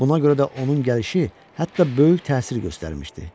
Buna görə də onun gəlişi hətta böyük təsir göstərmişdi.